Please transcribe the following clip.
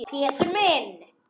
Pétur minn.